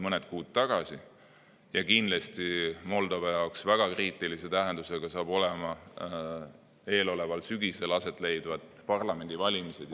Moldova jaoks saavad kindlasti väga kriitilise tähtsusega olema eeloleval sügisel aset leidvad parlamendivalimised.